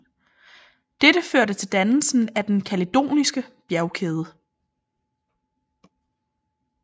Dette førte til dannelsen af den kaledoniske bjergkæde